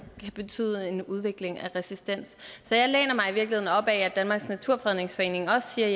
kan betyde en udvikling af resistens så jeg læner mig i virkeligheden op ad at danmarks naturfredningsforening også siger